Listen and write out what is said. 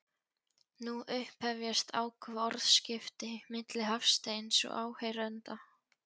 Nú upphefjast áköf orðaskipti milli Hafsteins og áheyrenda.